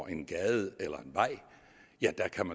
en gade eller en vej ja